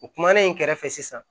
U kumana in kɛrɛfɛ sisan